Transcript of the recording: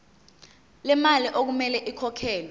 lemali okumele ikhokhelwe